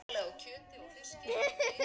En þeir þögðu um það.